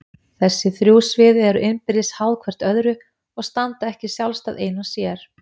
Þessi þrjú svið eru innbyrðis háð hvert öðru og standa ekki sjálfstæð ein og sér.